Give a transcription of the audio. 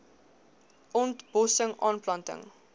ont bossing aanplanting